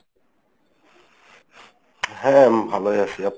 হ্যাঁ হ্যাঁ, আমি ভালোই আছি। আপনি?